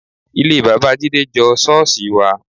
Ilé bàbá Jídé jọ ṣọ́ọ̀ṣì wa